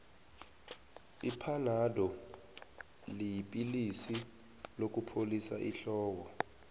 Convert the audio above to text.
iphanado yipilisi lokupholisa ihloko